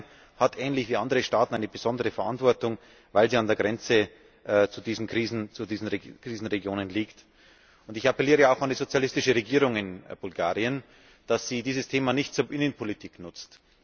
Bulgarien hat, ähnlich wie andere Staaten, eine besondere Verantwortung, weil es an der Grenze zu diesen Krisenregionen liegt. Ich appelliere auch an die sozialistische Regierung in Bulgarien, dass sie dieses Thema nicht zur Innenpolitik nutzt.